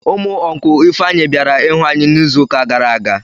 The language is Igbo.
Ụmụ ọncụl Ifeanyị bịara ịhụ anyị n'izuụka gara aga.